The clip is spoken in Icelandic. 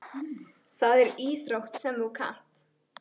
Það er íþrótt sem þú kannt.